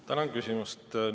Tänan küsimast!